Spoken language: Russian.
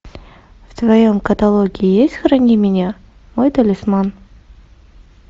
в твоем каталоге есть храни меня мой талисман